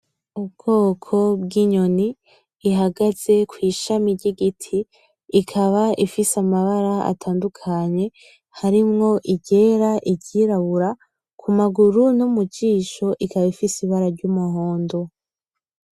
Ubwoko bw'inyoni ihagaze ku ishami ry'igiti ikaba ifise amabara atandukanye harimwo iryera, iryirabura ku maguru no mujisho ikaba ifise ibara ry'umuhondo.